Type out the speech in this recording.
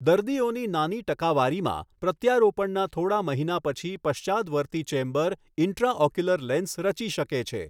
દર્દીઓની નાની ટકાવારીમાં, પ્રત્યારોપણના થોડા મહિના પછી પશ્ચાદવર્તી ચેમ્બર ઇન્ટ્રાઓક્યુલર લેન્સ રચી શકે છે.